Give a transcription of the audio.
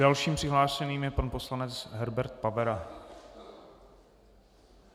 Dalším přihlášeným je pan poslanec Herbert Pavera.